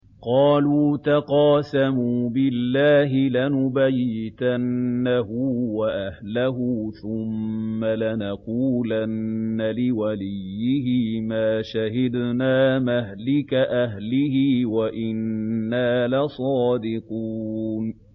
قَالُوا تَقَاسَمُوا بِاللَّهِ لَنُبَيِّتَنَّهُ وَأَهْلَهُ ثُمَّ لَنَقُولَنَّ لِوَلِيِّهِ مَا شَهِدْنَا مَهْلِكَ أَهْلِهِ وَإِنَّا لَصَادِقُونَ